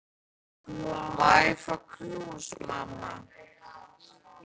Má ég fá knús, mamma?